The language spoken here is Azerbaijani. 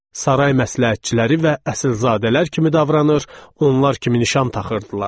Saray məsləhətçiləri və əsilzadələr kimi davranır, onlar kimi nişan taxırdılar.